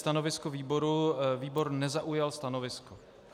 Stanovisko výboru: výbor nezaujal stanovisko.